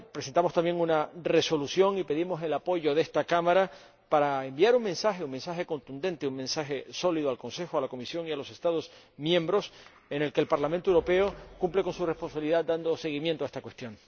Presentamos también una resolución y pedimos el apoyo de esta Cámara para enviar un mensaje un mensaje contundente, un mensaje sólido al Consejo, a la Comisión y a los Estados miembros que el Parlamento Europeo cumple con su responsabilidad dando seguimiento a esta cuestión.